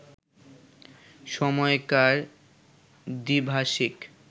সময়কার দ্বিভাষিক